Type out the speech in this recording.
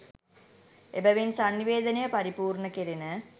එබැවින් සන්නිවේදනය පරිපූර්ණ කෙරෙන